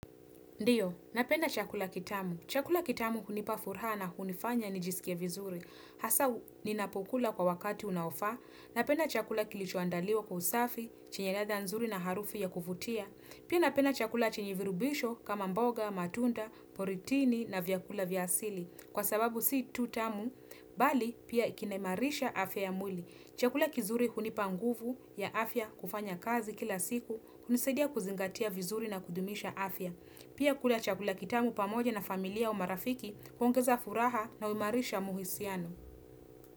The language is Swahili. Ndiyo, napenda chakula kitamu. Chakula kitamu hunipa furaha na kunifanya nijisikie vizuri. Hasa, ninapukula kwa wakati unaofaa. Napenda chakula kilichoandaliwa kwa usafi, chenye ladha nzuri na harufu ya kuvutia. Pia napenda chakula chenye virubisho kama mboga, matunda, poritini na vyakula vya asili. Kwa sababu si tu tamu, bali pia ikiniimarisha afya ya mwili. Chakula kizuri hunipa nguvu ya afya kufanya kazi kila siku, hunisaidia kuzingatia vizuri na kudumisha afya. Pia kula chakula kitamu pamoja na familia au marafiki huongeza furaha na uimarisha muhisiano.